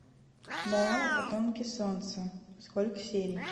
дорама потомки солнца сколько серий